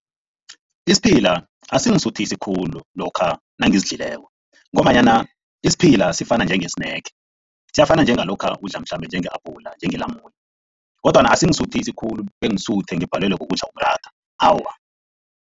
Isiphila asingisuthisi khulu lokha nangisidlileko ngombanyana isiphila sifana nje-snack, siyafana njengalokha udla mhlambe njenge-abhula njenge-lamune kodwana asingisuthisi khulu bengisuthe ngibhalelwe kukudla umratha, awa.